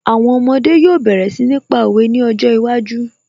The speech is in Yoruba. Àwọn ọmọdé yóò bẹ̀rẹ̀ sí ní pa òwe ní ọjọ́ iwájú